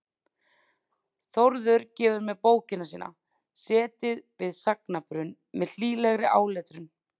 Þórður gefur mér bókina sína, Setið við sagnabrunn, með hlýlegri áletrun.